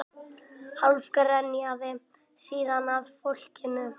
Hálf grenjaði síðan að fólkinu